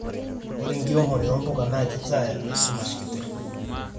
ore enkiremore o mbuka naa kitaa esumash kiti